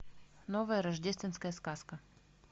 новая рождественская сказка